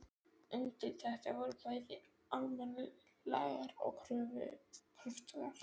Undirtektir voru bæði almennar og kröftugar.